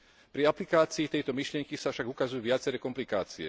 Pri aplikácii tejto myšlienky sa však ukazujú viaceré komplikácie.